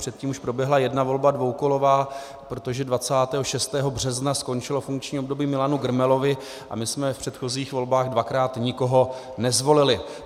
Předtím už proběhla jedna volba dvoukolová, protože 26. března skončilo funkční období Milanu Grmelovi a my jsme v předchozích volbách dvakrát nikoho nezvolili.